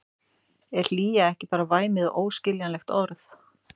Er hlýja ekki bara væmið og óskiljanlegt orð?